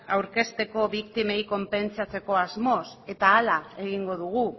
aurkezteko biktimei konpentsatzeko asmoz eta ahala egingo dugu